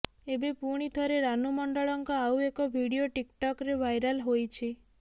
ଏବେ ପୁଣି ଥରେ ରାନୁ ମଣ୍ଡଳଙ୍କ ଆଉ ଏକ ଭିଡିଓ ଟିକ୍ଟକ୍ରେ ଭାଇରାଲ ହୋଇଛି